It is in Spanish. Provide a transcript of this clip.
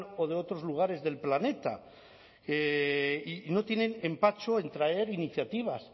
o de otros lugares del planeta y no tienen empacho en traer iniciativas